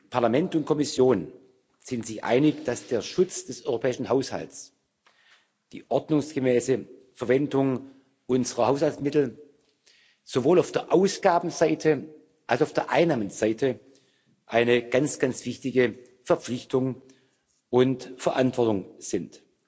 Parlament und Kommission sind sich einig, dass der Schutz des europäischen Haushalts, die ordnungsgemäße Verwendung unserer Haushaltsmittel sowohl auf der Ausgabenseite als auch auf der Einnahmenseite eine ganz, ganz wichtige Verpflichtung und Verantwortung sind.